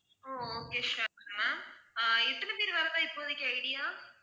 ஹம் okay ma'am ஆஹ் எத்தனை பேர் வர்றதா இப்போதைக்கு idea